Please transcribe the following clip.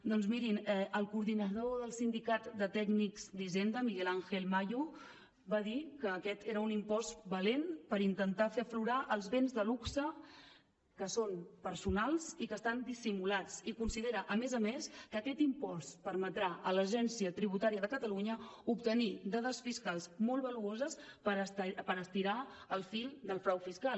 doncs mirin el coordinador del sindicat de tècnics d’hisenda miguel ángel mayo va dir que aquest era un impost valent per intentar fer aflorar els béns de luxe que són personals i que estan dissimulats i considera a més a més que aquest impost permetrà a l’agència tributària de catalunya obtenir dades fiscals molt valuoses per estirar el fil del frau fiscal